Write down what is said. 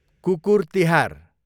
कुकुर तिहार